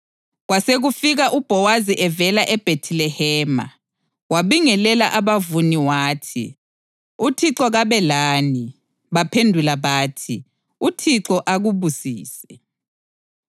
Kwasekufika uBhowazi evela eBhethilehema, wabingelela abavuni wathi, “ UThixo kabe lani!” Baphendula bathi, “ UThixo akubusise!”